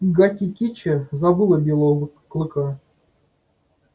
гаки кичи забыла белого клыка